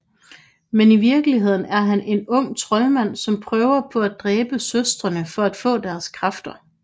Men i virkeligheden er han en ung troldmand som prøver på at dræbe søstrene for at få deres kræfter